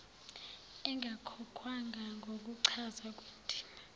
engakhokhwanga ngokuchaza kwendima